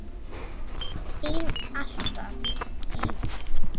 Þín alltaf, Heiður.